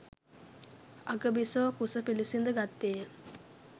අග බිසෝ කුස පිළිසිඳ ගත්තේය.